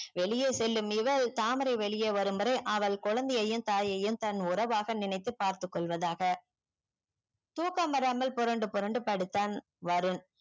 வெளிய செல்லும் இவள் தாமரை வெளியே வாரும் வரை அவள் குழந்தையையும் தாயையும் தன் உறவாக நினைத்து பாத்து கொள்வதாக தூக்கம் வராமல் பொரண்டு பொரண்டு படுத்தான் வருண்